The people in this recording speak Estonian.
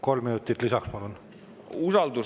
Kolm minutit lisaks, palun!